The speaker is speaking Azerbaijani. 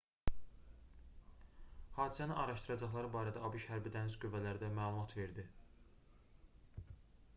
hadisəni araşdıracaqları barədə abş hərbi dəniz qüvvələri də məlumat verdi